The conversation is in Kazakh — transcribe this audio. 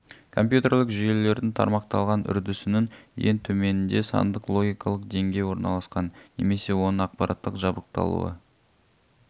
компьютерлік жүйелердің тармақталған үрдісінің ең төменінде сандық логикалық деңгей орналасқан немесе оның аппараттық жабдықталуы